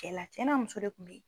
Cɛla cɛ n'a muso de tun bɛ yen.